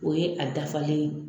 O ye a dafalen ye